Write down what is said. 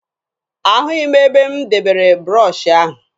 Ahụghị m ebe m debere broshuọ ahụ.